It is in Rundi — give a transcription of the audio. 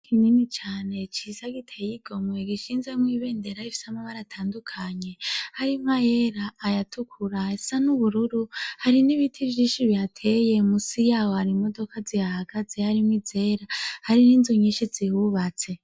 Kinini cane ciza giteyigomwe gishinze mw' ibendera rifise amabara atandukanye hari mwayera, ayatukura ,ayasa n'ubururu ,hari n'ibiti vyishi bihateye musi yaho hari imodoka zihahagaze hari mw'izera hari n'inzu nyishi zihubatse.